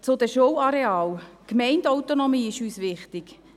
Zu den Schularealen: Die Gemeindeautonomie ist uns wichtig.